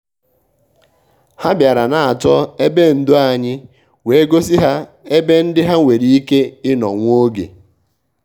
hà bìàrà n’á chọ́ ébè ndò ànyị́ wèé gọ́sí hà ébè ndị́ hà nwéré íké ì nọ́ nwá ògè.